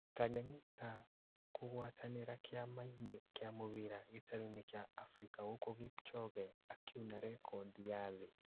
Tanganyika kũgwatanĩra Kĩama-inĩ kĩa Mũbira gĩtarũinĩ kĩa Afirika gũkũ Kipchoge akiuna rekondi ya thĩ.